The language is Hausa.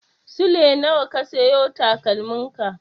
Sule nawa ka siyo takalmin ka?